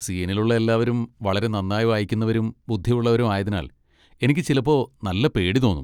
സീനിലുള്ള എല്ലാവരും വളരെ നന്നായി വായിക്കുന്നവരും ബുദ്ധിയുള്ളവരും ആയതിനാൽ എനിക്ക് ചിലപ്പോ നല്ല പേടി തോന്നും.